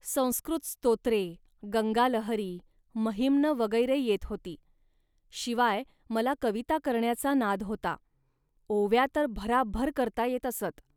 संस्कृत स्तोत्रे, गंगालहरी, महिम्न वगैरे येत होती, शिवाय मला कविता करण्याचा नाद होता. ओव्या तर भराभर करता येत असत